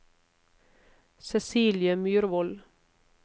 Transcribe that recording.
Cecilie Myrvold